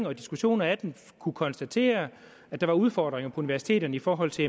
og diskussion af den kunne konstatere at der var udfordringer på universiteterne i forhold til